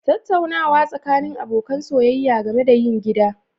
Tattaunawa tsakanin abokan soyayya game da yin gida